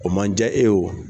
O man diya e oo.